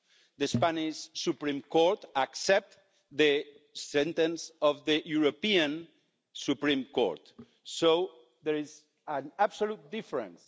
The Spanish Supreme Court accepts the sentence of the European Supreme Court, so there is an absolute difference.